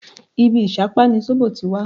Ibí ìṣápá ni sóbò ti wá